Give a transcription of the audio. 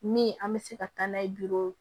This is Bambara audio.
Min an bɛ se ka taa n'a ye juru